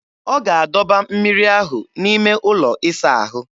Ọ ga-adọba mmiri ahụ n'ime ụlọ ịsa ahụ.